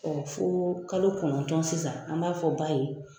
fo kalo kɔnɔntɔn sisan an b'a fɔ ba ye.